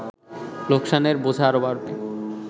লোকসানের বোঝা আরো বাড়বে